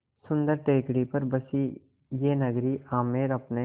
सुन्दर टेकड़ी पर बसी यह नगरी आमेर अपने